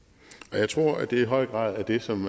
og jeg tror at det i høj grad er det som